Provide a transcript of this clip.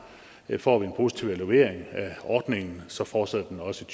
at får vi en positiv evaluering af ordningen så fortsætter den også